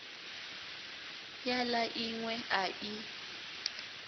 ya la inwe a i